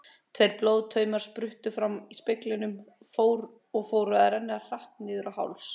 Tveir blóðtaumar spruttu fram í speglinum og fóru að renna hratt niður á háls.